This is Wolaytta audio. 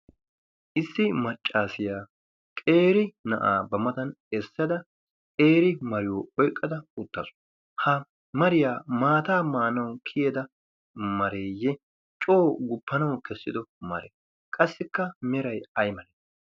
issi maccaasiyaa qeeri na'aa ba matan essada qeeri mariyo oyqqada uttasu ha mariyaa maataa maanawu kiyeda mareeyye coo guppanawu kessido maree qassikka meray ay maree